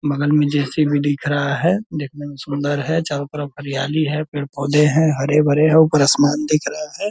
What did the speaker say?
बगल मे जे.सी.बी. दिख रहा है देखने मे सुंदर है चारो तरफ हरियाली है पेड़-पौधे है हरे-भरे है ऊपर आसमान दिख रहा है।